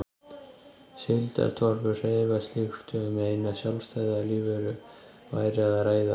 Síldartorfur hreyfast líkt og um eina sjálfstæða lífveru væri að ræða.